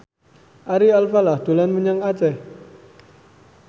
Ari Alfalah dolan menyang Aceh